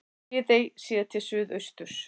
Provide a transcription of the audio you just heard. Viðey séð til suðausturs.